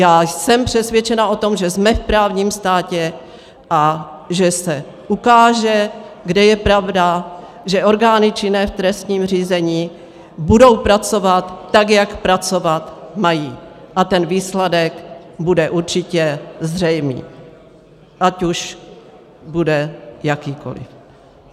Já jsem přesvědčena o tom, že jsme v právním státě a že se ukáže, kde je pravda, že orgány činné v trestním řízení budou pracovat tak, jak pracovat mají, a ten výsledek bude určitě zřejmý, ať už bude jakýkoli.